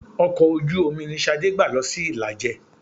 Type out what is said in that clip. Ọkọ̀ ojú-omi ni Ṣadé gbà lọ sí Ìlàjẹ.